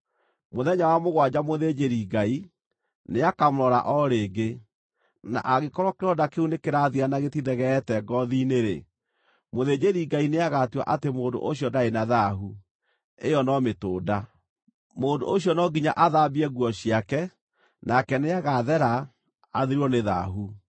Mũthenya wa mũgwanja mũthĩnjĩri-Ngai, nĩakamũrora o rĩngĩ, na angĩkorwo kĩronda kĩu nĩkĩrathira na gĩtithegeete ngoothi-inĩ-rĩ, mũthĩnjĩri-Ngai nĩagatua atĩ mũndũ ũcio ndarĩ na thaahu; ĩyo no mĩtũnda. Mũndũ ũcio no nginya athambie nguo ciake, nake nĩagathera, athirwo nĩ thaahu.